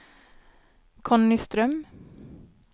Conny Ström